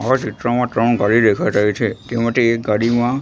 આ ચિત્રમાં ત્રણ ગાડી દેખાય રહી છે તેમાથી એક ગાડીમાં--